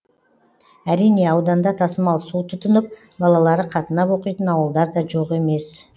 әрине ауданда тасымал су тұтынып балалары қатынап оқитын ауылдар да жоқ емес